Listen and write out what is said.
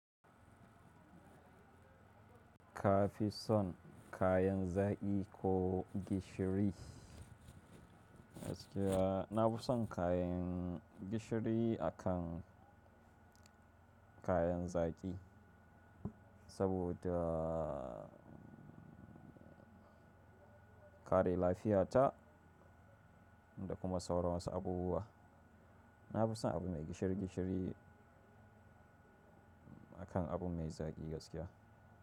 Kafi son kayan zaƙi ko gishiri? Gaskiya na fi son kayan gishiri akan kayan zaƙi saboda kare lafiyata da kuma sauran wasu abubuwa. Na fi son abu mai gishiri gishiri akan abu mai zaki gaskiya.